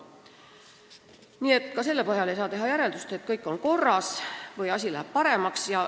Nii et ka selle põhjal ei saa teha järeldust, et kõik on korras või läheb paremaks.